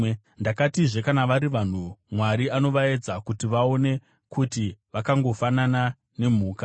Ndakatizve, “Kana vari vanhu, Mwari anovaedza kuti vaone kuti vakangofanana nemhuka.